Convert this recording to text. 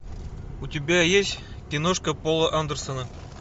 у тебя есть киношка пола андерсона